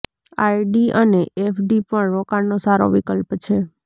RD અને FD પણ રોકાણનો સારો વિકલ્પ છે